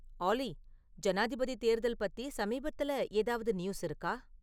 ஆலி ஜனாதிபதி தேர்தல் பத்தி சமீபத்துல ஏதாவது நியூஸ் இருக்கா